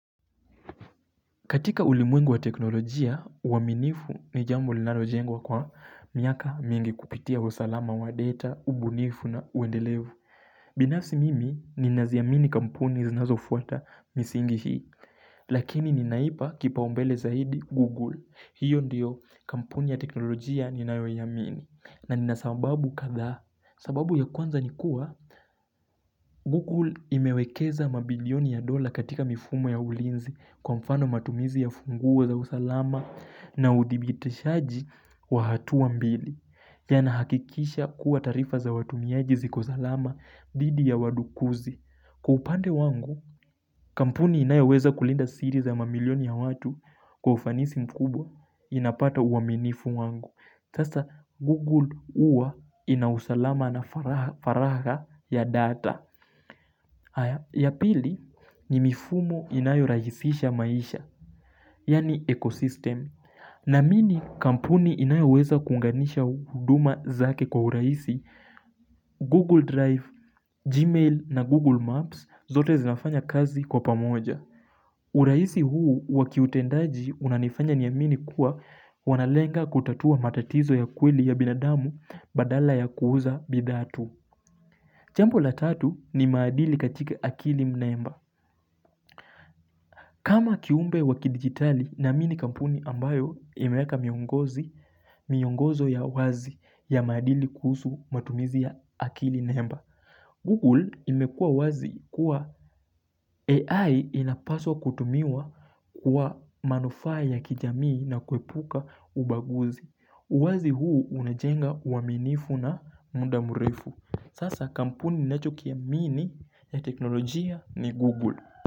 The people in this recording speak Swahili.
Katika ulimwengu wa teknolojia, uaminifu ni jambo linalojengwa kwa miaka mingi kupitia usalama wa data, ubunifu na uendelevu. Binafsi mimi, ninaziamini kampuni zinazo fuata misingi hii, lakini ninaipa kipaombele zaidi Google. Hiyo ndiyo, kampuni ya teknolojia ninayoiamini. Na nina sababu kadha sababu ya kwanza ni kuwa Google imewekeza mabilioni ya dola katika mifumo ya ulinzi Kwa mfano matumizi ya funguo za usalama na udhibitishaji wa hatuwa mbili yanahakikisha kuwa taarifa za watumiaji ziko salama dhidi ya wadukuzi Kwa upande wangu Kampuni inayoweza kulinda siri za mamilioni ya watu Kwa ufanisi mkubwa inapata uaminifu wangu sasa Google huwa ina usalama na faraga ya data haya ya pili ni mifumo inayorahisisha maisha Yaani ecosystem Naamini kampuni inayoweza kuunganisha huduma zake kwa urahisi Google Drive, Gmail na Google Maps zote zinafanya kazi kwa pamoja urahisi huu wa kiutendaji unanifanya niamini kuwa wanalenga kutatua matatizo ya kweli ya binadamu badala ya kuuza bidhaa tu. Jambo la tatu ni maadili katika akili mnemba. Kama kiumbe wa kidigitali naamini kampuni ambayo imeweka miongozi, miongozo ya wazi ya maadili kuhusu matumizi ya akili mnemba. Google imekua wazi kuwa AI inapaswa kutumiwa kwa manufaa ya kijamii na kuepuka ubaguzi. Uwazi huu unajenga uaminifu na muda mrefu. Sasa kampuni ninachokiamini ya teknolojia ni Google.